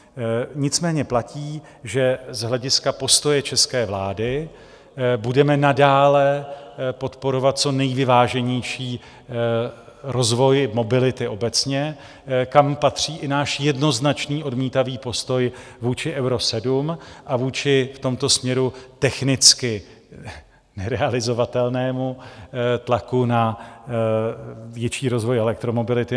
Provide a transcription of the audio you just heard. Nicméně platí, že z hlediska postoje české vlády budeme nadále podporovat co nejvyváženější rozvoj mobility obecně, kam patří i náš jednoznačný odmítavý postoj vůči Euro 7 a vůči v tomto směru technicky nerealizovatelnému tlaku na větší rozvoj elektromobility.